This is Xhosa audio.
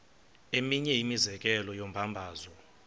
eminye imizekelo yombabazo